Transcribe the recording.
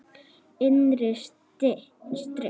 Innri styrk.